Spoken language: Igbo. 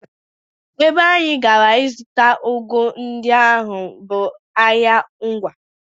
Ebe anyị gara ịzụta ụgụ ndị ahụ bụ ahịa Ngwá